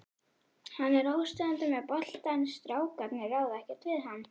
Hann er óstöðvandi með boltann, strákarnir ráða ekkert við hann.